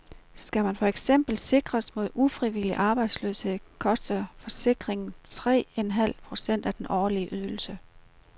Skal man for eksempel sikres mod ufrivillig arbejdsløshed, koster forsikringen tre en halv procent af den årlige ydelse.